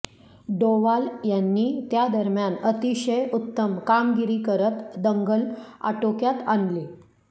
डोवाल यांनी त्या दरम्यान अतिशय उत्तम कामगिरी करत दंगल आटोक्यात आणली